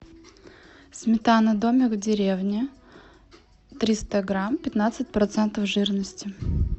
сметана домик в деревне триста грамм пятнадцать процентов жирности